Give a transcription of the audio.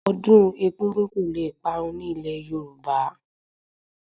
Ọdún egúngún kò le parun ní ilé Yorùbá